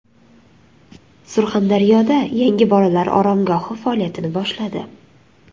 Surxondaryoda yangi bolalar oromgohi faoliyatini boshladi.